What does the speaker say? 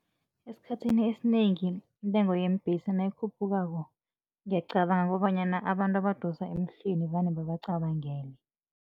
Esikhathini esinengi intengo yeembhesi nayikhuphukako, ngiyacabanga kobanyana abantu abadosa emhlweni vane babacabangele.